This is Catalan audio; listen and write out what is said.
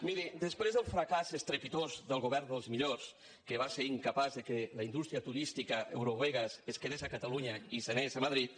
miri després del fracàs estrepitós del govern dels mi·llors que va ser incapaç que la indústria turística eu·rovegas es quedés a catalunya i se n’anés a madrid